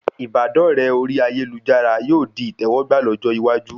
Ìbádọ́rẹ orí ayélujára yóò di ìtẹwọ́gbà lọ́jọ́ iwájú